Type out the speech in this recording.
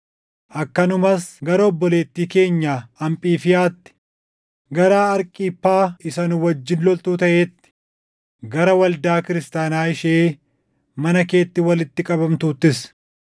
akkanumas gara obboleettii keenya Aphifiyaatti, gara Arkiphaa isa nu wajjin loltuu taʼeetti, gara waldaa kiristaanaa ishee mana keetti walitti qabamtuuttis: